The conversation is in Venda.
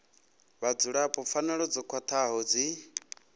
vhadzulapo pfanelo dzo khwathaho dzi